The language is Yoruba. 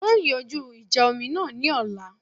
Wọn yóò yanjú ìjà omi náà ní ọ̀la